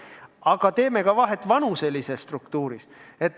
Aga me oleme silmas pidanud ka vanuselist struktuuri.